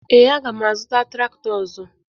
Ee, aga m azụta traktọ ọzọ